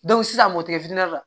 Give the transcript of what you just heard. sisan mɔkɛ la